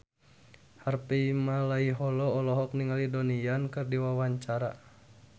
Harvey Malaiholo olohok ningali Donnie Yan keur diwawancara